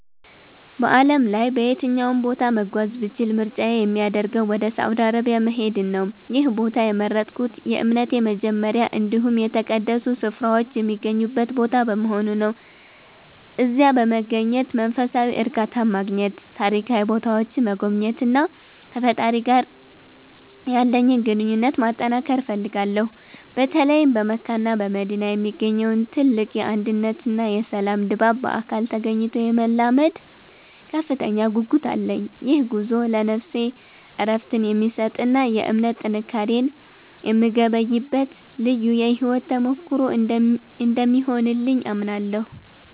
በዓለም ላይ በየትኛውም ቦታ መጓዝ ብችል ምርጫዬ የሚያደርገው ወደ ሳውዲ አረቢያ መሄድን ነው። ይህን ቦታ የመረጥኩት የእምነቴ መጀመሪያ እንዲሁም የተቀደሱ ስፍራዎች የሚገኙበት ቦታ በመሆኑ ነው። እዚያ በመገኘት መንፈሳዊ እርካታን ማግኘት፤ ታሪካዊ ቦታዎችን መጎብኘትና ከፈጣሪዬ ጋር ያለኝን ግንኙነት ማጠንከር እፈልጋለሁ። በተለይም በመካና በመዲና የሚገኘውን ትልቅ የአንድነትና የሰላም ድባብ በአካል ተገኝቶ የመለማመድ ከፍተኛ ጉጉት አለኝ። ይህ ጉዞ ለነፍሴ እረፍትን የሚሰጥና የእምነት ጥንካሬን የምገበይበት ልዩ የሕይወት ተሞክሮ እንደሚሆንልኝ አምናለሁ።